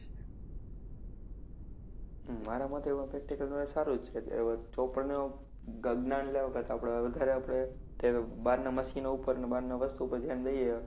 મારા મતે એમાં practical knowledge સારું જ છે. નો જ્ઞાન લેવા કરતાં વધારે આપણે કે બારનાં મશીનો ઉપરને બારનાં વસ્તુ ઉપર ધ્યાન દઈએ.